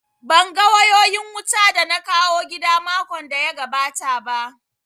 Ban ga wayoyin wutan da na kawo gida makon da ya gabata ba